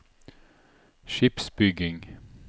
skipsbygging